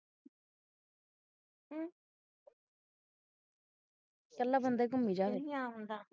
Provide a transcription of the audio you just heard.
ਕਲਾ ਬੰਦਾ ਹੀ ਘੁਮੀ ਜਾਵੇ ਨਹੀਂ ਆਉਂਦਾ